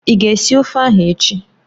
Ị ga esi ofe ahụ echi?